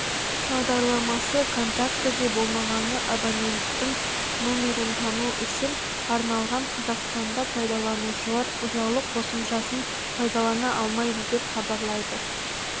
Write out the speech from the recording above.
бағдарламасы контактіде болмаған абоненттің номерін тану үшін арналған қазақстанда пайдаланушылар ұялы қосымшасын пайдалана алмайды деп хабарлайды